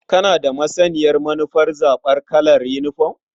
Kana da masaniyar manufar zaɓar kalar yinifom?